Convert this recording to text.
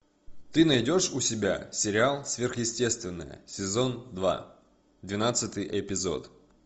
ты найдешь у себя сериал сверхъестественное сезон два двенадцатый эпизод